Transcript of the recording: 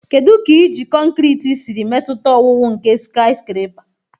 Kedu ka iji kọnkịtị siri metụta owuwu nke skiscrapa?